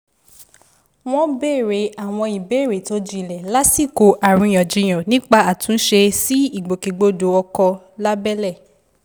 wọn béèrè àwọn ìbéèrè tó jinlẹ̀ lásìkò àríyànjiyàn nípa àtúnṣe sí ìgbòkègbodò ọkọ̀ lábẹ́lé